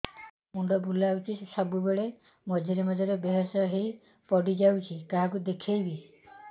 ମୁଣ୍ଡ ବୁଲାଉଛି ସବୁବେଳେ ମଝିରେ ମଝିରେ ବେହୋସ ହେଇ ପଡିଯାଉଛି କାହାକୁ ଦେଖେଇବି